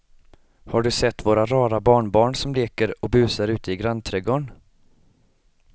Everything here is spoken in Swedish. Har du sett våra rara barnbarn som leker och busar ute i grannträdgården!